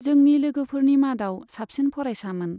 जोंनि लोगोफोरनि मादाव साबसिन फरायसामोन।